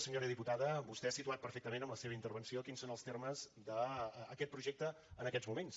senyora diputada vostè ha situat perfectament amb la seva intervenció quins són els termes d’aquest projecte en aquests moments